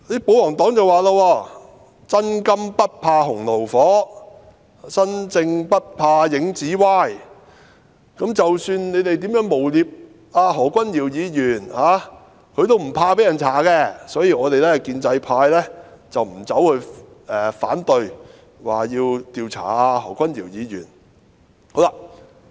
保皇黨說："'真金不怕洪爐火'，'身正不怕影子歪'，無論你們如何誣衊何君堯議員，他也不怕被人調查，所以，我們建制派沒有反對調查何君堯議員"。